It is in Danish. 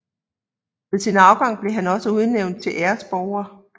Ved sin afgang blev han også udnævnt til æresborger